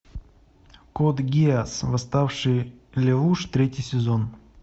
код гиас восставший лелуш третий сезон